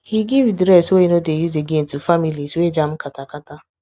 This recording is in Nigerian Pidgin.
he give dress wey e no dey use again to families wey jam kata kata